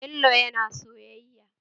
Bello yana soyayya?